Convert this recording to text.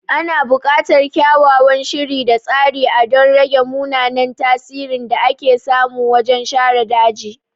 Ana bukatar kyakkyawan shiri da tsari a don rage mummunan tasirin da ake samu wajen share daji.